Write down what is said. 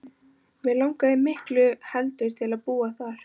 Mig langaði miklu heldur til að búa þar.